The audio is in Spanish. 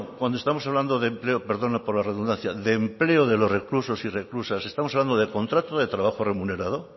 cuando estamos hablando de empleo perdona por la redundancia de empleo de los reclusos y reclusas estamos hablando de contrato de trabajo remunerado